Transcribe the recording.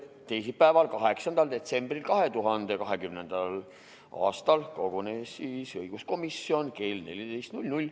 Teisipäeval, 8. detsembril 2020. aastal kogunes õiguskomisjon kell 14.